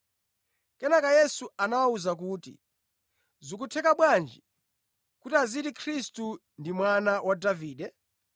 Kenaka Yesu anawawuza kuti, “Zikutheka bwanji kuti aziti Khristu ndi mwana wa Davide?